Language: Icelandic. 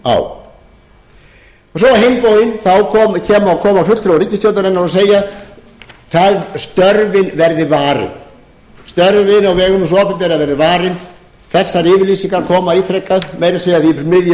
á á hinn bóginn koma fulltrúar ríkisstjórnarinnar og segja að störfin verði varin störfin á vegum hins opinbera verði varin þessar yfirlýsingar koma ítrekað meira að segja í miðju